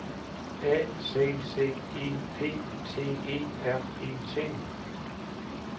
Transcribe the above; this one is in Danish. A C C E P T E R E T